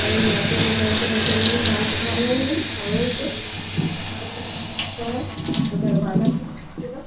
और यहाँ पर एक लड़के बैठे हुए हैं बाल कटवा रहे हैं और एक अख़बार भी यहाँ पे दिख रहा है और दरवाजे भी है शीशे का।